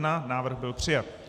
Návrh byl přijat.